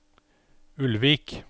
Ulvik